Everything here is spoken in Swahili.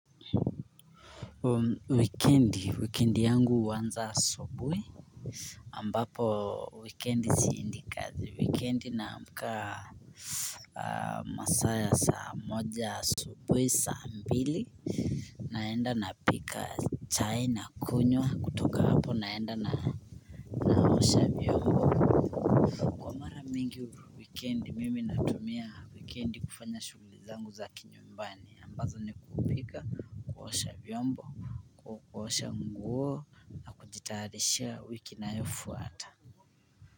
Wikendi, wikendi yangu huanza asubuhi ambapo wikendi siendi kazi, wikendi naamka masaa ya saa moja asubuhi saa mbili naenda napika chai nakunywa kutoka hapo naenda na naosha vyombo. Kwa mara mingi wikendi mimi natumia wikendi kufanya shughuli zangu za kinyumbani ambazo ni kupika kuosha vyombo kuosha nguo nakujitayarishia wiki inayofuata.